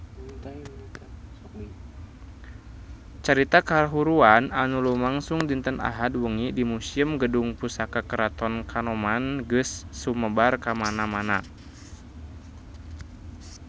Carita kahuruan anu lumangsung dinten Ahad wengi di Museum Gedung Pusaka Keraton Kanoman geus sumebar kamana-mana